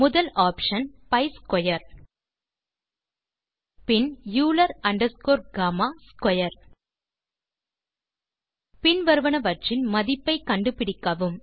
முதலில் option B square bin Euler underscore comma square bin வருவனவற்றின் மதிப்பை கண்டுபிடிக்கவும்